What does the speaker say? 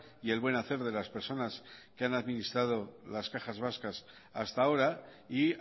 y el buen hacer de las personas que han administrado las cajas vascas hasta ahora y